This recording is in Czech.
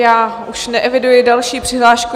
Já už neeviduji další přihlášku.